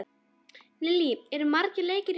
Lillý, eru margir leikir í boði?